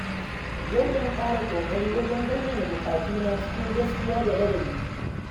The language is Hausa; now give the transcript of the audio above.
Yau zan ƙara ƙoƙari wajen bayyana buƙatuna cikin gaskiya da ladabi.